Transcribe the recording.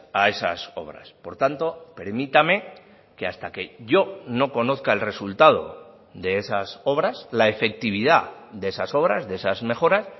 a esas obras por tanto permítame que hasta que yo no conozca el resultado de esas obras la efectividad de esas obras de esas mejoras